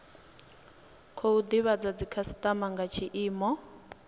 khou divhadza dzikhasitama nga tshiimo